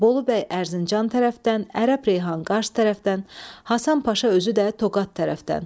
Bolu bəy Ərzincan tərəfdən, Ərəb Reyhan Qars tərəfdən, Həsən Paşa özü də Toqat tərəfdən.